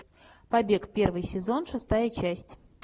побег первый сезон шестая часть